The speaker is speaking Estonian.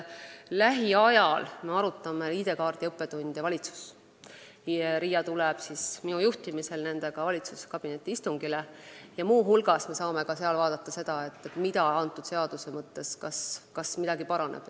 Lähiajal me arutame valitsuses ID-kaardi õppetunde, RIA tuleb nendega valitsuskabineti istungile ja me saame seal muu hulgas vaadata, kas selle seaduse mõttes midagi paraneb.